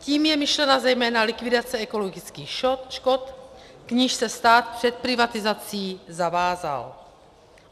Tím je myšlena zejména likvidace ekologických škod, k níž se stát před privatizací zavázal.